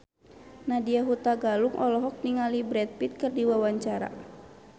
Nadya Hutagalung olohok ningali Brad Pitt keur diwawancara